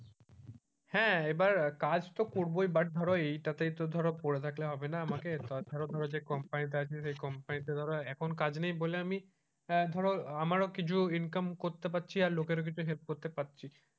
হ্যাঁ এবার কাজ তো করবোই but ধরো এটাতেই তো ধরো পড়ে থাকলে তো হবে না আমাকে তাছাড়া ধরো যে কোম্পানিতে আছি সেই কোম্পানিতে ধরো এখন কাজ নেই বলে আমি আহ ধরো আমারও কিছু income করতে পারছি লোকের help করতে পারছি।